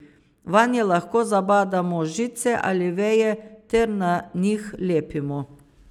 Vanje lahko zabadamo žice ali veje ter na njih lepimo.